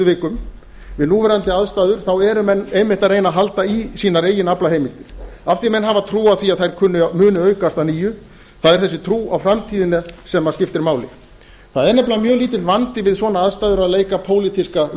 vikum við núverandi aðstæður eru menn einmitt að reyna að halda í sínar eigin aflaheimildir af því að menn hafa trú á því að þær muni aukast að nýju það er þessi trú á framtíðina sem skiptir máli það er nefnilega mjög lítill vandi við svona aðstæður að leika pólitíska